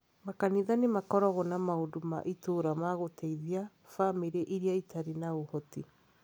Makanitha nĩ makoragwo na maũndũ ma itũũra ma gũteithia bamĩrĩ iria itarĩ na ũhoti.